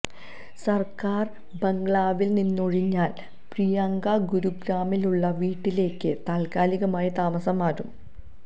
സര്ക്കാര് ബംഗ്ലാവില് നിന്നൊഴിഞ്ഞാല് പ്രിയങ്ക ഗുരുഗ്രാമിലുള്ള വീട്ടിലേക്ക് താത്കാലികമായി താമസം മാറും